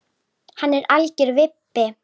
Hann er algjör vibbi.